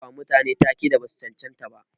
Ana bawa mutane ta-ke da basu cancanta ba.